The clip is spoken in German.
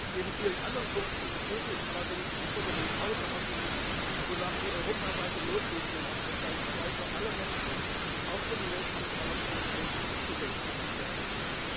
Neben vielen anderen Punkten begrüße ich allerdings die Forderung außerordentlich, wonach die europaweite Notrufnummer 112 für alle Menschen, auch für Menschen mit Behinderung, zugängig gemacht werden muss.